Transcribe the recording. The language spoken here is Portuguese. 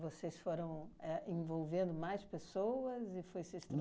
Vocês foram é envolvendo mais pessoas e foi se